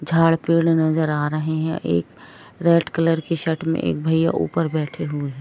झाड़ पेड़ नजर आ रहे है एक रेड कलर की शर्ट में एक भईया ऊपर बैठे हुए है।